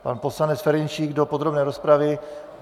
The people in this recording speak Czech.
Pan poslanec Ferjenčík do podrobné rozpravy.